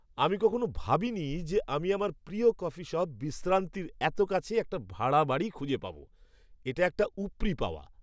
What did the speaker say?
আমি কখনও ভাবিনি যে আমি আমার প্রিয় কফি শপ বিশ্রান্তির এত কাছে একটা ভাড়া বাড়ি খুঁজে পাব। এটা একটা উপরি পাওয়া!